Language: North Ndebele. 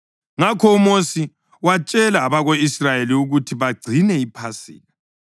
Ngakho uMosi watshela abako-Israyeli ukuthi bagcine iPhasika,